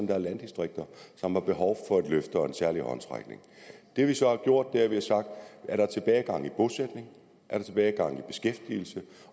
der er landdistrikter som har behov for et løft og en særlig håndsrækning det vi så har gjort er at vi har sagt er der tilbagegang i bosætning er der tilbagegang i beskæftigelse